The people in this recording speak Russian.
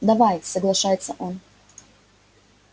давай соглашается он